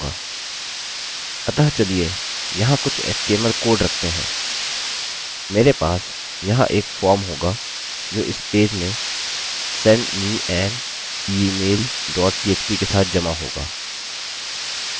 अतः चलिए यहाँ कुछ html कोड रखते हैं मेरे पास यहाँ एक फॉर्म होगा जो इस पेज में send me an email dot php के साथ जमा होगा